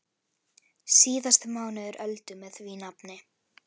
Síðasti mánuður Öldu með því nafni.